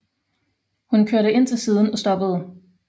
Hun kørte ind til siden og stoppede